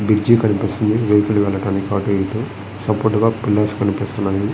Bridge కనిపిస్తుంది. Vehicles వెళ్తున్నాయి అటు ఇటు. కనిపిస్తున్నాయి.